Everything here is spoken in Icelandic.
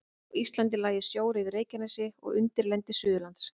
Á Íslandi lægi sjór yfir Reykjanesi og undirlendi Suðurlands.